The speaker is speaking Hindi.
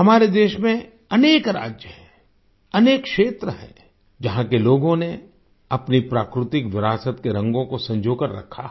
हमारे देश में अनेक राज्य हैं अनेक क्षेत्र है जहाँ के लोगों ने अपनी प्राकृतिक विरासत के रंगों को सँजोकर रखा है